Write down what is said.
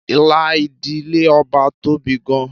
Ìlà ìdílé Ọba tóbi gan-an.